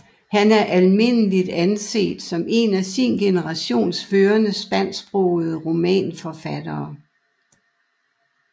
Han er almindeligt anset som en af sin generations førende spansksprogede romanforfattere